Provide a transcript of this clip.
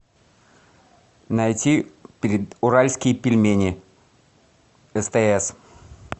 найти уральские пельмени стс